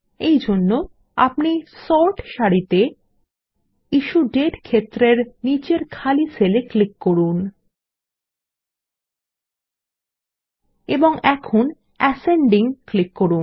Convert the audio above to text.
এই জন্য আপনি সর্ট সারিতে ইস্যুডেট ক্ষেত্রের নিচের খালি সেল এ ক্লিক করুন এবং এখন অ্যাসেন্ডিং ক্লিক করুন